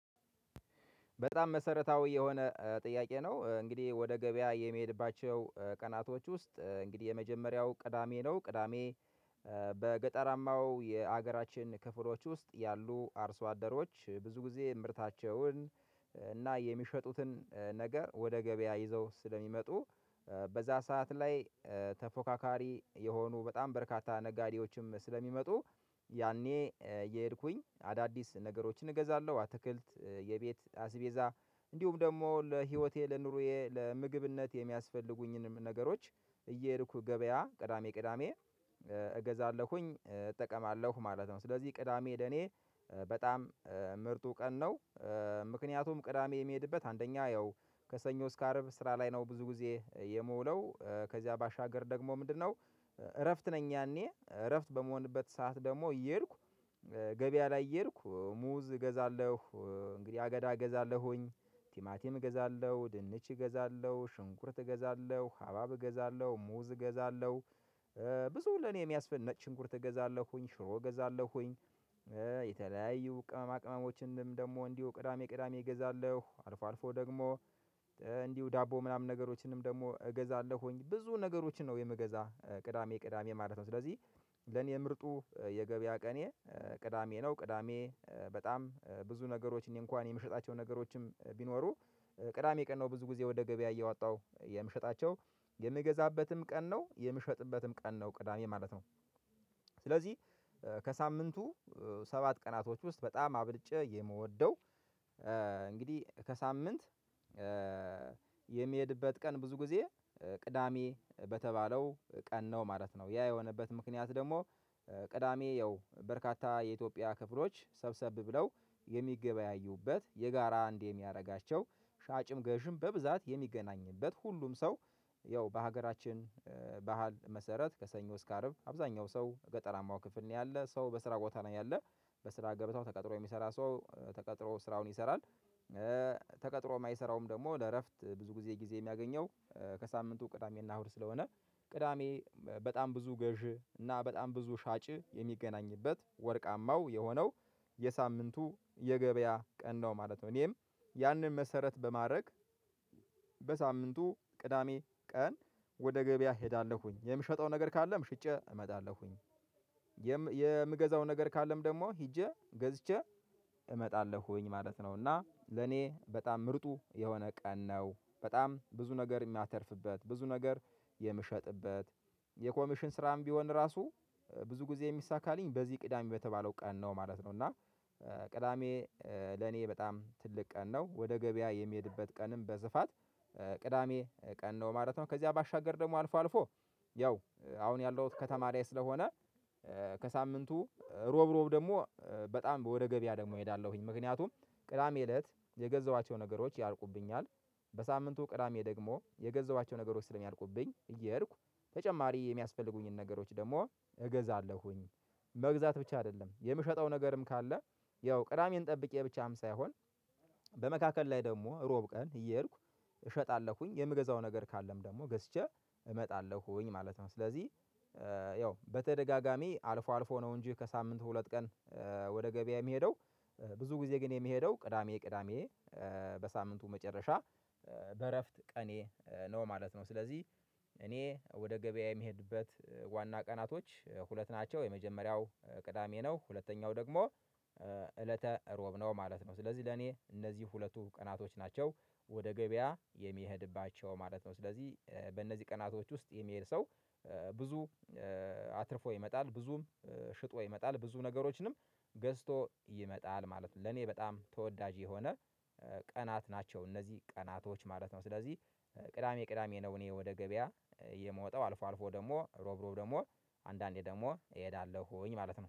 በጣም መሰረታዊ የሆነ ጥያቄ ነው። እንግዲህ ወደ ገበያ የሚሄድባቸው ቀናቶች ውስጥ እንግዲህ የመጀመሪያው ቅዳሜ ነው። ቅዳሜ በገጠራማው የሀገራችን ክፍሎች ውስጥ ያሉ አርሶ አደሮች ብዙ ጊዜ ምርታቸውን እና የሚሸጡትን ነገር ወደ ገበያ ይዘው ስለሚመጡ። በዛ ሰዓት ላይ ተፎካካሪ የሆኑ በጣም በርካታ ነጋዴዎችም ስለሚመጡ። ያኔ እየሄድኩኝ አዳዲስ ነገሮችን እገዛለሁ አትክልት የቤት አስቤዛ እንዲሁም ደግሞ ለህይወቴ ለኑሮዬ ለምግብነት የሚያስፈልጉኝንም ነገሮች እየሄድኩ ገበያ ቅዳሜ ቅዳሜ እገዛለሁኝ እጠቀማለሁ ማለት ነው። ስለዚህ ቅዳሜ ለኔ በጣም ምርጡ ቀን ነው። ምክንያቱም ቅዳሜ የሚሄድበት አንደኛ ያው ከሰኞ እስከ አርብ ስራ ላይ ነው ብዙ ጊዜ የምውለው ከዚያ ባሻገር ደግሞ ምንድነው? እረፍት ነኝ ያኔ እረፍት በመሆንበት ሰዓት ደግሞ እየሄድኩ ገበያ ላይ እየሄድኩ ሙዝ እገዛለሁ እንግዲህ አገዳ እገዛለሁኝ ቲማቲም እገዛለሁ ድንች እገዛለሁ ሽንኩርት እገዛለሁ ሀባብ እገዛለሁ ሙዝ እገዛለሁ። ብዙ ለኔ የሚያስፈልግ ነጭንቁርት እገዛለሁኝ ሽሮ እገዛለሁኝ። የተለያዩ ቅመማ ቅመሞችንም ደግሞ እንዲሁ ቅዳሜ ቅዳሜ እገዛለሁ አልፎ አልፎ ደግሞ እንዲሁ ዳቦ ምናምን ነገሮችንም ደግሞ እገዛለሁኝ ብዙ ነገሮችን ነው የምገዛ ቅዳሜ ቅዳሜ ማለት ነው። ስለዚህ ለኔ ምርጡ የገበያ ቀኔ ቅዳሜ ነው። ቅዳሜ በጣም ብዙ ነገሮች እኔ እንኳን የምሸጣቸው ነገሮችም ቢኖሩ ቅዳሜ ቀን ነው ብዙ ጊዜ ወደ ገበያ እየዋጣው የምሸጣቸው የምገዛበትም ቀን ነው የምሸጥበትም ቀን ነው ቅዳሜ ማለት ነው። ስለዚህ ከሳምንቱ ሰባት ቀናቶች ውስጥ በጣም አብልጬ የምወደው እንግዲህ ከሳምንት የሚሄድበት ቀን ብዙ ጊዜ ቅዳሜ በተባለው ቀን ነው ማለት ነው። ያ የሆነበት ምክንያት ደግሞ ቅዳሜ ያው በርካታ የኢትዮጵያ ክፍሎች ሰብሰብ ብለው የሚገበያዩበት የጋራ አንዴ የሚያደርጋቸው ሻጭም ገዥም በብዛት የሚገናኝበት ሁሉም ሰው ያው በሀገራችን በህል መሰረት ከሰኞ እስከ አርብ አብዛኛው ሰው ገጠራማው ክፍል ነው ያለ ሰው በስራ ቦታ ነው ያለ በስራ ገበታው ተቀጥሮ የሚሰራ ሰው ተቀጥሮ ስራውን ይሰራል። ተቀጥሮ የማይሰራውም ደግሞ ለእረፍት ብዙ ጊዜ ጊዜ የሚያገኘው ከሳምንቱ ቅዳሜና እህዉድ ስለሆነ። ቅዳሜ በጣም ብዙ ገዢ እና በጣም ብዙ ሻጭ የሚገናኝበት ወርቃማው የሆነው የሳምንቱ የገበያ ቀን ነው ማለት ነው። እኔም ያንን መሰረት በማድረግ በሳምንቱ ቅዳሜ ቀን ወደ ገበያ እሄዳለሁኝ የምሸጠው ነገር ካለም ሽጬ እመጣለሁኝ። የምገዛው ነገር ካለም ደግሞ ሄጄ ገዝቼ እመጣለሁኝ ማለት ነው። እና ለኔ በጣም ምርጡ የሆነ ቀን ነው በጣም ብዙ ነገር የሚያተርፍበት ብዙ ነገር የምሸጥበት የኮሚሽን ስራም ቢሆን ራሱ ብዙ ጊዜ የሚሳካ አለኝ በዚህ ቅዳሜ በተባለው ቀን ነው ማለት ነው። እና ቅዳሜ ለኔ በጣም ትልቅ ቀን ነው ወደ ገበያ የሚሄድበት ቀንም በስፋት ቅዳሜ ቀን ነው ማለት ነው። ከዚያ ባሻገር ደግሞ አልፎ አልፎ ያው አሁን ያለውት ከተማ ላይ ስለሆነ። ከሳምንቱ እሮብ እሮብ ደግሞ በጣም ወደ ገበያ ደግሞ እሄዳለሁኝ ምክንያቱም ቅዳሜ እለት የገዛቸው ነገሮች ያልቁብኛል በሳምንቱ ቅዳሜ ደግሞ የገዛቸው ነገሮች ስለሚያልቁብኝ እየሄድኩ ተጨማሪ የሚያስፈልጉኝን ነገሮች ደግሞ እገዛለሁኝ። መግዛት ብቻ አይደለም የምሸጠው ነገርም ካለ ያው ቅዳሜን ጠብቄ ብቻም ሳይሆን በመካከል ላይ ደግሞ እሮብ ቀን እየሄድኩ እሸጣለሁኝ የምገዛው ነገር ካለም ደግሞ ገዝቼ እመጣለሁኝ ማለት ነው። ስለዚህ ያው በተደጋጋሚ አልፎ አልፎ ነው እንጂ ከሳምንቱ ሁለት ቀን። ወደ ገበያ የሚሄደው ብዙ ጊዜ ግን የሚሄደው ቅዳሜ ቅዳሜ በሳምንቱ መጨረሻ በእረፍት ቀኔ ነው። ማለት ነው ስለዚህ እኔ ወደ ገበያ የሚሄድበት ዋና ቀናቶች ሁለት ናቸው። የመጀመሪያው ቅዳሜ ነው ሁለተኛው ደግሞ እለተ እሮብ ነው ማለት ነው። ስለዚህ ለኔ እነዚህ ሁለቱ ቀናቶች ናቸው ወደ ገበያ የሚሄድባቸው ማለት ነው። ስለዚህ በእነዚህ ቀናቶች ውስጥ የሚሄድ ሰው ብዙ አትርፎ ይመጣል ብዙም ሽጦ ይመጣል ብዙ ነገሮችንም ገዝቶ ይመጣል ማለት ነው። ለኔ በጣም ተወዳጅ የሆነ ቀናት ናቸው እነዚህ ቀናቶች ማለት ነው። ስለዚህ ቅዳሜ ቅዳሜ ነው እኔ ወደ ገበያ የምወጣው አልፎ አልፎ ደግሞ እሮብ እሮብ ደግሞ አንዳንዴ ደግሞ እሄዳለሁኝ ማለት ነው